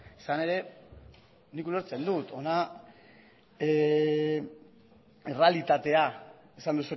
izan ere nik ulertzen dut hona errealitatea esan